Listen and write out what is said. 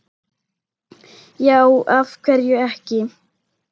já af hverju ekki